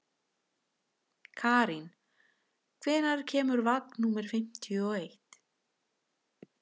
Karín, hvenær kemur vagn númer fimmtíu og eitt?